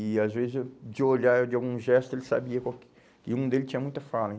E, às vezes, eu, de olhar de algum gesto, ele sabia qual que, que um dele tinha muita fala.